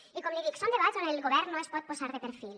i com li dic són debats on el govern no es pot posar de perfil